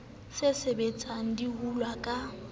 se sebetsang di hulwa ka